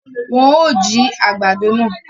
Wọn o jí àgbàdo náà